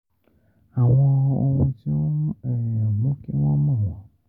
Àwọn ohun tí ó ń mú um mú kí wọ́n mọ̀ wọ́n